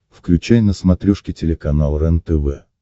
включай на смотрешке телеканал рентв